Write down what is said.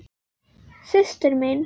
Systir mín.